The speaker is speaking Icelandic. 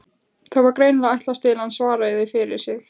Það var greinilega ætlast til að hann svaraði fyrir sig.